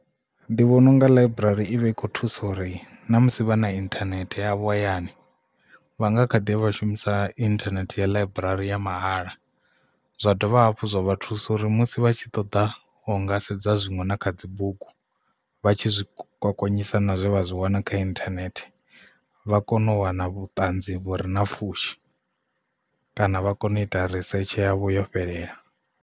Ndi vhona unga ḽaiburari ivha i kho thusa uri na musi vha na internet ya vho hayani vha nga khaḓi ya vha shumisa internet ya ḽaiburari ya mahala zwa dovha hafhu zwa vha thusa uri musi vha tshi ṱoḓa u nga sedza zwiṅwe na kha dzibugu vha tshi zwi gonyisa na zwo vha zwi wana kha internet vha kone u wana vhuṱanzi vhure na pfhushi kana vha kone u ita risetshe yavho yo fhelela.